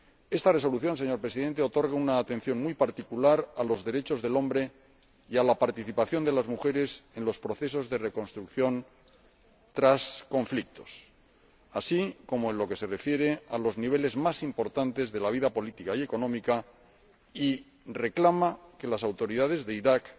Esta Resolución, señor Presidente, otorga una atención muy particular a los derechos humanos y a la participación de las mujeres en los procesos de reconstrucción tras conflictos, así como en lo que se refiere a los niveles más importantes de la vida política y económica, y reclama que las autoridades de Irak